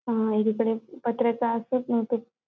आं इकडे पत्राचे असतात ना ते.